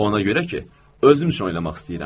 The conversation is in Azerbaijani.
Ona görə ki, özüm üçün oynamaq istəyirəm.